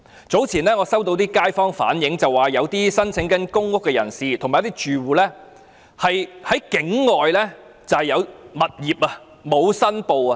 早前我收到一些街坊反映，指一些正在申請公屋的人和住戶其實在境外持有物業卻沒有申報。